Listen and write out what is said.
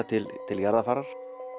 til til jarðarfarar